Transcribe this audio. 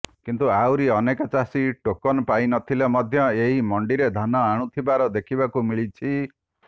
କିନ୍ତୁ ଆହୁରି ଅନେକ ଚାଷୀ ଟୋକନ ପାଇ ନଥିଲେ ମଧ୍ୟ ଏହି ମଣ୍ଡିରେ ଧାନ ଆଣୁଥିବାର ଦେଖିବାକୁ ମିଳିଛି